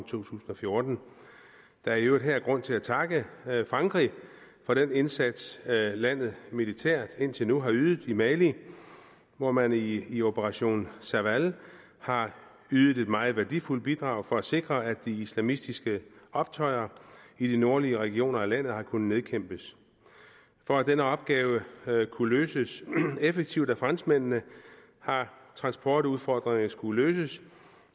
tusind og fjorten der er i øvrigt her grund til at takke frankrig for den indsats landet militært indtil nu har ydet i mali hvor man i i operation serval har ydet et meget værdifuldt bidrag for at sikre at de islamistiske optøjer i de nordlige regioner af landet har kunnet nedkæmpes for at denne opgave kunne løses effektivt af franskmændene har transportudfordringerne skulle løses